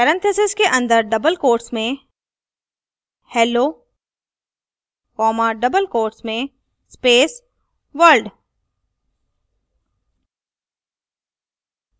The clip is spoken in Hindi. parentheses के अंदर double quotes में hello comma double quotes में space world